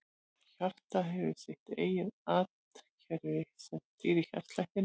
Hjartað hefur sitt eigið rafkerfi sem stýrir hjartslættinum.